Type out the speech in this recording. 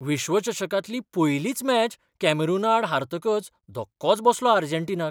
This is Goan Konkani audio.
विश्वचषकांतली पयलीच मॅच कॅमेरूनाआड हारतकच धक्कोच बसलो अर्जेंटिनाक.